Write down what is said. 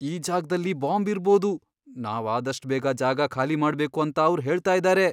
ಈ ಜಾಗ್ದಲ್ಲಿ ಬಾಂಬ್ ಇರ್ಬೋದು, ನಾವ್ ಆದಷ್ಟ್ ಬೇಗ ಜಾಗ ಖಾಲಿ ಮಾಡ್ಬೇಕು ಅಂತ ಅವ್ರ್ ಹೇಳ್ತಾ ಇದಾರೆ.